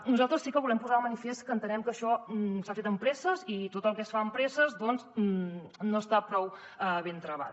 nosaltres sí que volem posar de manifest que entenem que això s’ha fet amb presses i tot el que es fa amb presses doncs no està prou ben travat